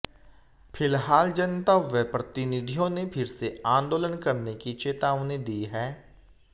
फिलहाल जनता व प्रतिनिधियों ने फिर से आंदोलन करने की चेतावनी दी है